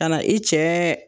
Kana i cɛ